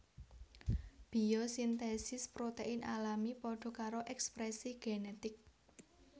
Biosintesis protein alami padha karo ekspresi genetik